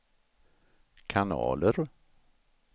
kanaler